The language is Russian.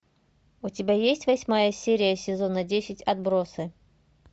у тебя есть восьмая серия сезона десять отбросы